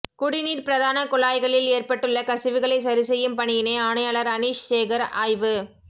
குடிநீர் பிரதான குழாய்களில் ஏற்பட்டுள்ள கசிவுகளை சரிசெய்யும் பணியினை ஆணையாளர் அனீஷ் சேகர் ஆய்வு